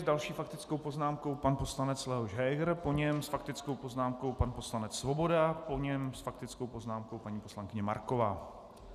S další faktickou poznámkou pan poslanec Leoš Heger, po něm s faktickou poznámkou pan poslanec Svoboda, po něm s faktickou poznámkou paní poslankyně Marková.